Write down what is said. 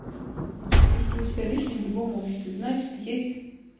чувствую себя лишней в любом обществе значит есть